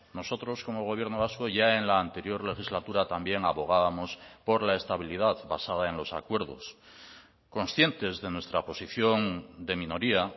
nosotros como gobierno vasco ya en la anterior legislatura también abogábamos por la estabilidad basada en los acuerdos conscientes de nuestra posición de minoría